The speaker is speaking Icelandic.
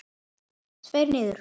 Tveir niður.